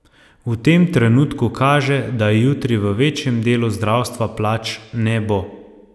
V tem trenutku kaže, da jutri v večjem delu zdravstva plač ne bo.